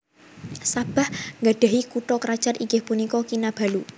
Sabah nggadhahi kutha krajan inggih punika Kinabalu